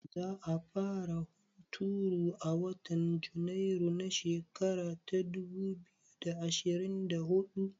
Za a fara hunturu a watan Janairu na shekara ta dubu biyu da ashirin da huɗu?